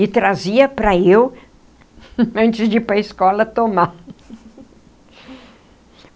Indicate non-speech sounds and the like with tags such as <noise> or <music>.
E trazia para eu, antes de ir para a escola, tomar. <laughs>